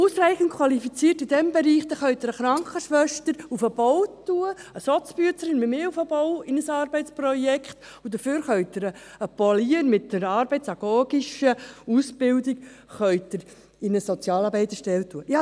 Ausreichend Qualifizierte in diesem Bereich: Da können Sie eine Krankenschwester auf den Bau schicken oder eine «SozBüezerin» wie mich für mein Arbeitsprojekt auf den Bau schicken, und dafür können Sie einen Polier mit einer arbeitsagogischen Ausbildung in eine Sozialarbeiterstelle schicken.